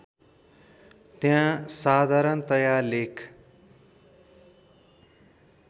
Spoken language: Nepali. त्यहाँ साधारणतया लेख